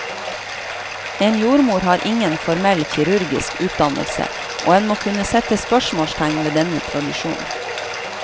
En jordmor har ingen formell kirurgisk utdannelse, og en må kunne sette spørsmålstegn ved denne tradisjonen.